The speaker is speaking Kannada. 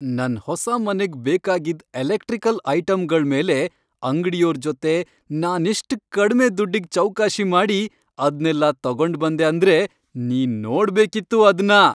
ನನ್ ಹೊಸ ಮನೆಗ್ ಬೇಕಾಗಿದ್ ಎಲೆಕ್ಟ್ರಿಕಲ್ ಐಟಮ್ಗಳ್ಮೇಲೆ ಅಂಗ್ಡಿಯೋರ್ ಜೊತೆ ನಾನೆಷ್ಟ್ ಕಡ್ಮೆ ದುಡ್ಡಿಗ್ ಚೌಕಾಶಿ ಮಾಡಿ ಅದ್ನೆಲ್ಲ ತಗೊಂಡ್ಬಂದೆ ಅಂದ್ರೆ ನೀನ್ ನೋಡ್ಬೇಕಿತ್ತು ಅದ್ನ!